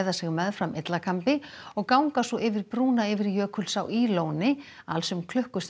sig meðfram og ganga svo yfir brúna yfir Jökulsá í Lóni alls um